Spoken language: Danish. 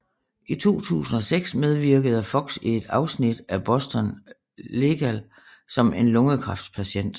I 2006 medvirkede Fox i et afsnit af Boston Legal som en lungekræftspatient